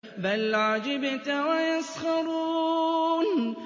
بَلْ عَجِبْتَ وَيَسْخَرُونَ